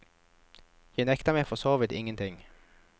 Jeg nekter meg for så vidt ingen ting.